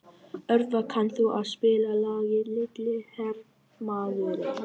Örvar, kanntu að spila lagið „Litli hermaðurinn“?